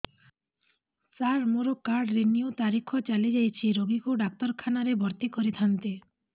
ସାର ମୋର card renew ତାରିଖ ଚାଲି ଯାଇଛି ରୋଗୀକୁ ଡାକ୍ତରଖାନା ରେ ଭର୍ତି କରିଥାନ୍ତି